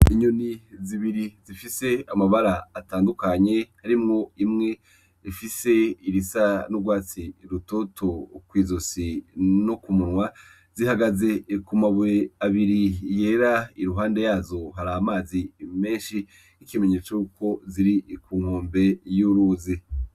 Inyoni zibiri zifise amabara atandukanye harimwo imwe ifise irisa n'urwatsi rutoto kw'izosi no ku munwa, zihagaze ku mabuye abiri yera iruhande yazo hari amazi menshi ikimenyetso yuko ziri ku nkombe y'uruzi